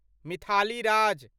Mithali Raj